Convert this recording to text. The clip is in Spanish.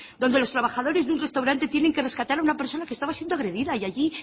donde los trabajadores de un restaurante tienen que rescatar a una persona que estaba siendo agredida y allí